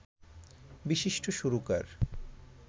বিশিষ্ট সুরকার